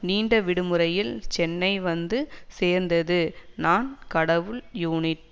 நீண்ட விடுமுறையில் சென்னை வந்து சேர்ந்தது நான் கடவுள் உநிட்